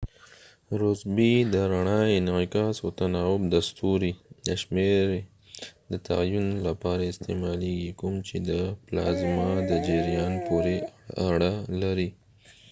د رڼا انعکاس او تناوب د ستوري د rossby شمیرې د تعین لپاره استعمالیږي کوم چې د پلازما د جریان پورې اړه لري